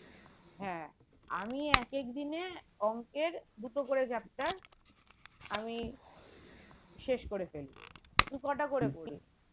হ্যাঁ আমি এক এক দিনে অঙ্কের দুটো করে chapter আমি শেষ করে ফেলবো তুই কটা করে করিস?